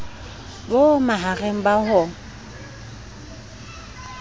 bo ma hareng ba ho